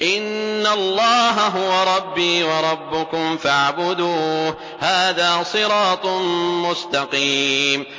إِنَّ اللَّهَ هُوَ رَبِّي وَرَبُّكُمْ فَاعْبُدُوهُ ۚ هَٰذَا صِرَاطٌ مُّسْتَقِيمٌ